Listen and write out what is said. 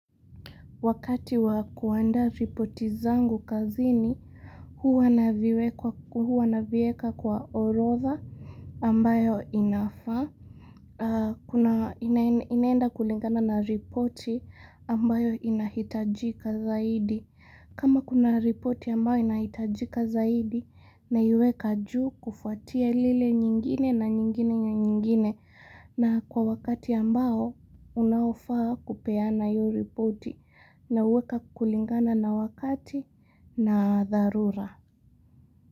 Wakati wa kuandaa ripoti zangu kazini, huwa navieka kwa orodha ambayo inafaa inaenda kulingana na ripoti ambayo inahitajika zaidi. Kama kuna ripoti ambayo inahitajika zaidi naiweka juu kufuatia lile nyingine na nyingine na nyingine na nyingine na kwa wakati ambao unaofaa kupeana yu ripoti. Na uweka kulingana na wakati na dharura.